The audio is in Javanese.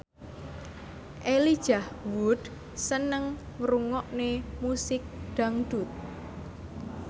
Elijah Wood seneng ngrungokne musik dangdut